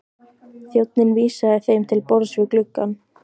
Þjónninn vísaði þeim til borðs við gluggann.